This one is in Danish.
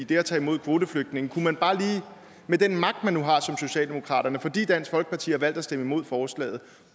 at tage imod kvoteflygtninge med den magt man nu har som socialdemokrater fordi dansk folkeparti har valgt at stemme imod forslaget